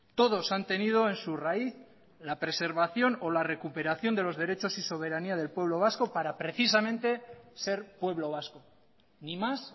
todos han tenido en su raíz la preservación o la recuperación de los derechos y soberanía del pueblo vasco para precisamente ser pueblo vasco ni más